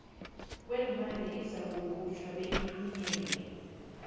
kweenlwana izakukhutjhwa beyithunyelelwe